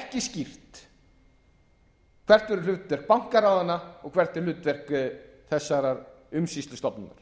ekki skýrt hvert verður hlutverk bankaráðanna og hvert er hlutverk þessarar umsýslustofnunar auðvitað